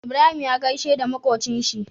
Ibrahim ya gaishe da makocin shi